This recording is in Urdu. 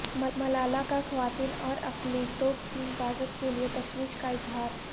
ملالہ کا خواتین اور اقلیتوں کی حفاظت کے لیے تشویش کا اظہار